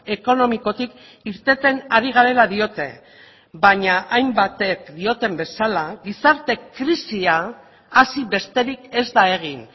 ekonomikotik irteten ari garela diote baina hainbatek dioten bezala gizarte krisia hasi besterik ez da egin